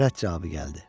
Rədd cavabı gəldi.